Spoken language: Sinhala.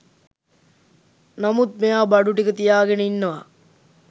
නමුත් මෙයා බඩු ටික තියාගෙන ඉන්නවා